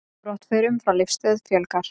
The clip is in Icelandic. Brottförum frá Leifsstöð fjölgar